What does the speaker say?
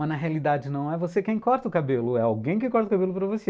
Mas na realidade não é você quem corta o cabelo, é alguém que corta o cabelo para você.